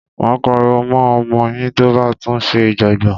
Máa pariwo mọ́ ọmọ yín tó bá tún ṣe ìjọ̀gbọ̀n.